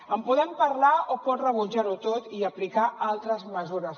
en podem parlar o pot rebutjar ho tot i aplicar altres mesures